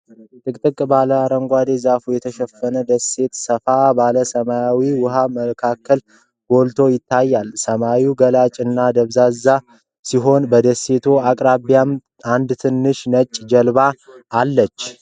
ጥቅጥቅ ባለ አረንጓዴ ዛፎች የተሸፈነች ደሴት ሰፋ ባለ ሰማያዊ ውሃ መካከል ጎልታ ትታያለች። ሰማዩ ገላጭ እና ደብዛዛ ሲሆን፣ በደሴቲቱ አቅራቢያም አንድ ትንሽ ነጭ ጀልባ አለ።